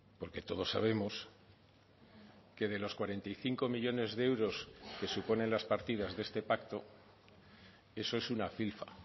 porque todos sabemos que de los cuarenta y cinco millónes de euros que suponen las partidas de este pacto eso es una filfa